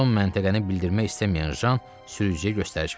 Son məntəqəni bildirmək istəməyən Jan sürücüyə göstəriş verdi.